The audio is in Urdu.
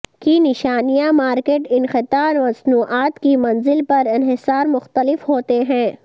کی نشانیاں مارکیٹ انقطاع مصنوعات کی منزل پر انحصار مختلف ہوتے ہیں